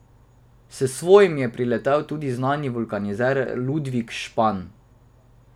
S svojim je priletel tudi znani vulkanizer Ludvik Špan.